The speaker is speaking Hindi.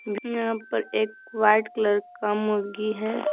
यहां पर एक वाइट कलर का मुर्गी है।